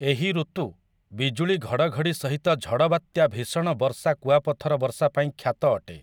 ଏହି ଋତୁ ବିଜୁଳି ଘଡ଼ଘଡ଼ି ସହିତ ଝଡ଼ ବାତ୍ୟା ଭୀଷଣ ବର୍ଷା କୁଆପଥର ବର୍ଷା ପାଇଁ ଖ୍ୟାତ ଅଟେ ।